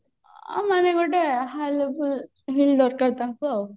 ଆଉ ମାନେ ଗୋଟେ high level heel ଦରକାର ତାଙ୍କୁ ଆଉ